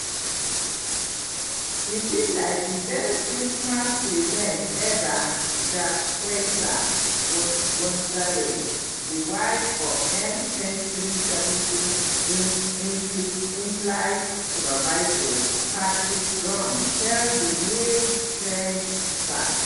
e feel like di best christmas present eva" jacquita gonzales di wife of mh370 inflight inflight supervisor patrick gomes tell di new straits times.